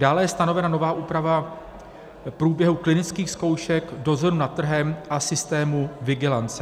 Dále je stanovena nová úprava průběhu klinických zkoušek, dozoru nad trhem a systému vigilance.